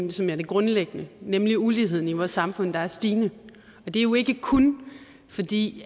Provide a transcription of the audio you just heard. ligesom er det grundlæggende nemlig uligheden i vores samfund der er stigende det er jo ikke kun fordi